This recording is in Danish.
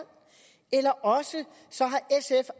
eller også